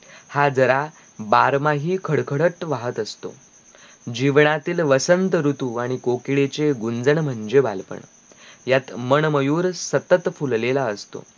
हा जरा बारमाही खडकडत वाहत असतो जीवनातील वसंत ऋतू आणी कोकिळेचे गुंजन म्हणजे बालपण यात मणमयूर सतत फुललेला असतो